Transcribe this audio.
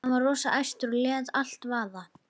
Hann var rosa æstur og lét allt vaða.